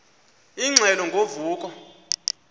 ingxelo ngo vuko